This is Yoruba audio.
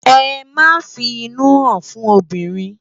Emá fi inú hán fún óbirin